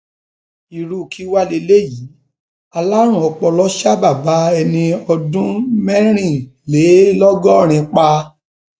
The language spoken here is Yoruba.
irú kí wàá lélẹyìíalárùn ọpọlọ ṣa bàbá ẹni ọdún mẹrìnlélọgọrin pa